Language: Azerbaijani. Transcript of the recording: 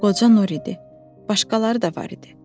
Qoca Nur idi, başqaları da var idi.